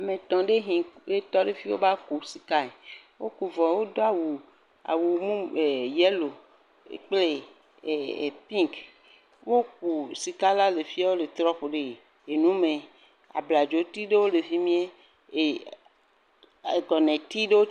Ame etɔ ɖe tɔ ɖe afi va ku sika. Woku vɔ wodo awu yellow kple pink. Woku sika la le fi wole trɔ ku ɖe nu me. Abladzoti ɖewo le fi me. Agɔnɛ ti ɖewo.